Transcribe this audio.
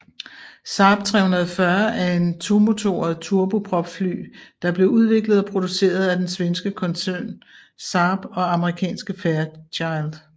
Saab 340 er et tomotoret turbopropfly der blev udviklet og produceret af den svenske koncern Saab og amerikanske Fairchild